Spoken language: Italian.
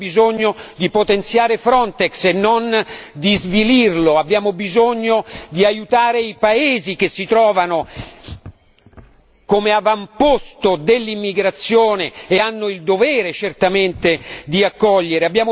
Abbiamo bisogno di potenziare Frontex e non di svilirlo, abbiamo bisogno di aiutare i paesi che si trovano come avamposto dell'immigrazione e hanno il dovere certamente di accogliere.